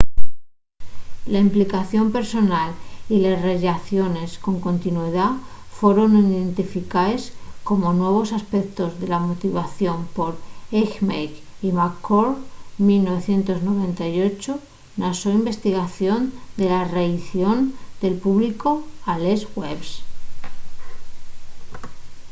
la implicación personal y les rellaciones con continuidá foron identificaes como nuevos aspectos de la motivación por eighmey y mccord 1998 na so investigación de la reaición del públicu a les webs